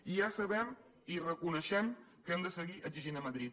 i ja sabem i reconeixem que hem de seguir exigint a madrid